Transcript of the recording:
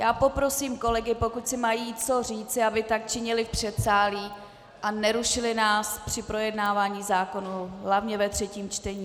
Já poprosím kolegy, pokud si mají co říci, aby tak činili v předsálí a nerušili nás při projednávání zákonů hlavně ve třetím čtení.